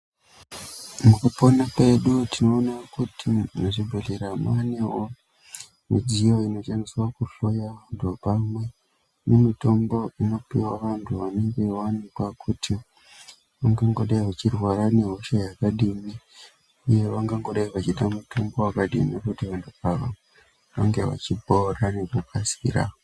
Mukupona kwedu tinoona kuti muzvibhedhlera mwanewo midziyo inoshandiswa kuhloya vantu pamwe nemitombo inopihwa vantu vanenge vawanikwa kuti vangangodai vachirwara nehosha yakadini uye vangangodai vachida mutombo wakadini kuti vantu ava vange vachipora ngekukasikira.